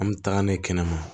An bɛ taga n'a ye kɛnɛma